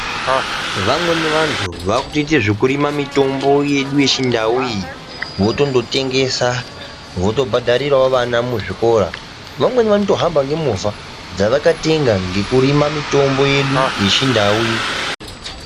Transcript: Vamweni vantu vakutoite zvekurima mutombo yedu yechindauyi votondotengesa votondobhadharirawo vana muzvikora vamweni vanotohamba ngemovha dzavakatenga ngekurima mitombo yedu yechindauyi.